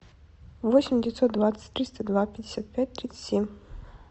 восемь девятьсот двадцать триста два пятьдесят пять тридцать семь